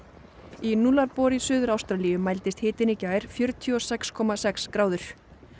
í í Suður Ástralíu mældist hitinn í gær fjörutíu og sex komma sex gráður